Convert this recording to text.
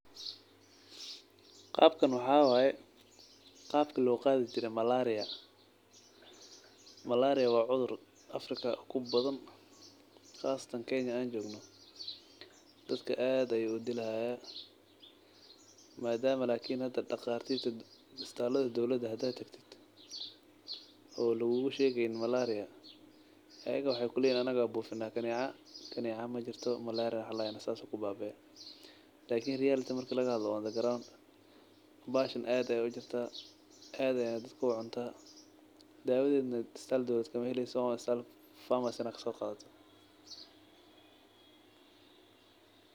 Qabkan waxa waye qabki lo qadhi jire malaria, malaria waa cudhur africa kubadan qasatan kenya an jogno dadka aad ayu udilaya madama hada daqatirta isbitalada dowlaada hada tagtid oo lagugu shegeynin malaria ayaga waxee kuleyahan anaga aya bufina kaneca, kaneca majirto malaria sas ayey kubabade, lakin reality marki laga hadlo bahashan aad ayey ujirta dawadedana isbitalka weyn matala waa asal in aa famarcy aya udonaneysa.